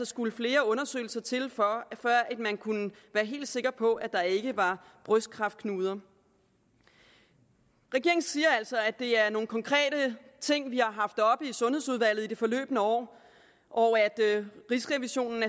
skulle flere undersøgelser til før man kunne være helt sikker på at der ikke var brystkræftknuder regeringen siger altså at det er nogle konkrete ting vi har haft oppe i sundhedsudvalget i det forløbne år og at rigsrevisionen